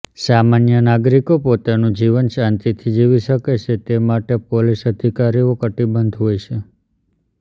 સામાન્ય નાગરીકો પોતાનુ જીવન શાંતિથી જીવી શકે તે માટે પોલીસ અધિકારીઓ કટીબધ્ધ હોય છે